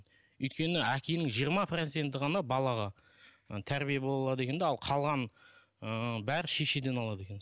өйткені әкенің жиырма проценті ғана балаға і тәрбие бола алады екен де қалғаны ыыы бәрі шешеден алады екен